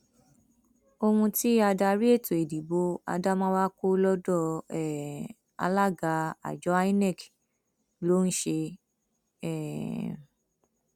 ohun tí adarí ètò ìdìbò adamawa kọ lọdọ um alága àjọ inec ló ń ṣe um